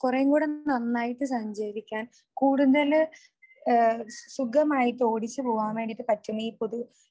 കുറേയും കൂടെ നന്നായിട്ട് സഞ്ചരിക്കാൻ കൂടുതല് ഏഹ് സുഖമായിട്ട് ഓടിച്ചു പോകാൻ വേണ്ടീട്ട് പറ്റുന്ന ഈ പൊതു